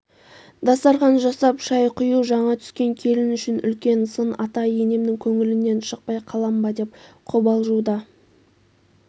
дастархан жасап шай құю жаңа түскен келін үшін үлкен сын ата-енемнің көңілінен шықпай қалам ба деп қобалжу да